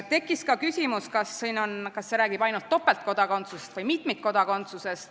Tekkis ka küsimus, kas see eelnõu räägib ainult topeltkodakondsusest või ka mitmikkodakondsusest.